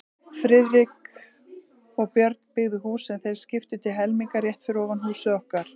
Friðrik og Björn, byggðu hús, sem þeir skiptu til helminga, rétt fyrir ofan húsið okkar.